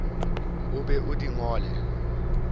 o be o di ngole